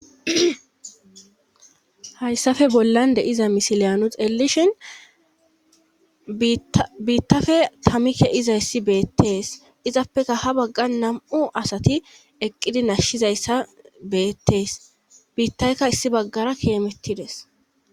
hayssafe bollan deiza misiliya nu xeellishin biittafe tamike izayssi beettees izappeka ha bagga nam7u asati eqqidi nashshizayssa beettees biittaykka issi baggara kiemettides